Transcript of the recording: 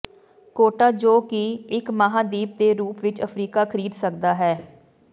quota ਜੋ ਕਿ ਇੱਕ ਮਹਾਂਦੀਪ ਦੇ ਰੂਪ ਵਿੱਚ ਅਫਰੀਕਾ ਖਰੀਦ ਸਕਦਾ ਹੈ